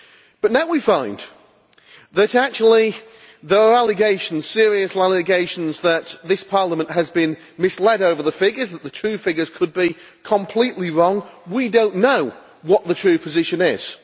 But now we find that actually there are serious allegations that this Parliament has been misled over the figures and that the true figures could be completely wrong. We do not know what the true position is.